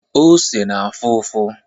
Ose na-afụ ụfụ.